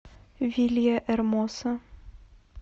вильяэрмоса